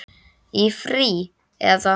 Í frí. eða?